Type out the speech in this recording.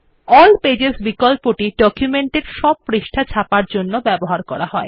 all pages বিকল্পটি ডকুমেন্টের সব পৃষ্ঠা ছাপার জন্য ব্যবহার করা হয়